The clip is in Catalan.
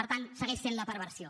per tant segueix sent la perversió